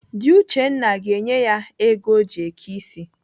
Dị Uchenna ga-enye ya ego o ji eke ịsị.